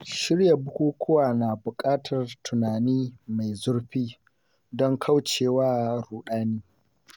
Shirya bukukuwa na bukatar tunani mai zurfi, don kauce wa ruɗani.